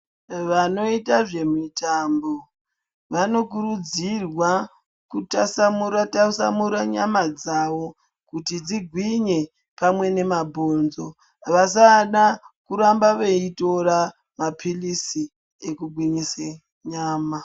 Vanoita zvemitambo vanokurudzirwa kutasamura tasamura nyama dzawo kuti dzigwinye pamwe nemabhonzo vasada kuramba veitora maphirizi ekugwinyise nyama.